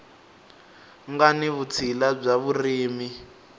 nga ni vutshila bya vurimi